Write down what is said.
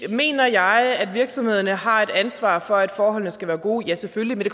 mener jeg at virksomhederne har et ansvar for at forholdene skal være gode ja selvfølgelig men